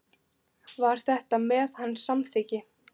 Var þetta með hans samþykki?